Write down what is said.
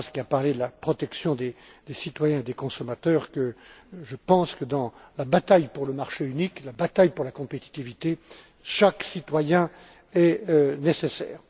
à M. Karas, qui a parlé de la protection des citoyens et des consommateurs que je pense que, dans la bataille pour le marché unique, la bataille pour la compétitivité, chaque citoyen est nécessaire.